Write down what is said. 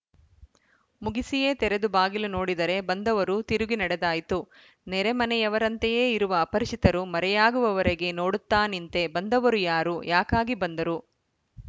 ಮುಗಿಸಿಯೇ ತೆರೆದು ಬಾಗಿಲು ನೋಡಿದರೆ ಬಂದವರು ತಿರುಗಿ ನಡೆದಾಯ್ತು ನೆರೆಮನೆಯವರಂತಯೇ ಇರುವ ಅಪರಿಚಿತರು ಮರೆಯಾಗುವವರೆಗೆ ನೋಡುತ್ತಾ ನಿಂತೆ ಬಂದವರು ಯಾರು ಯಾಕಾಗಿ ಬಂದರು